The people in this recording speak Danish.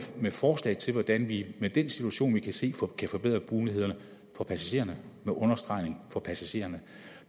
med forslag til hvordan vi med den situation vi kan se kan forbedre mulighederne for passagererne med understregning af for passagererne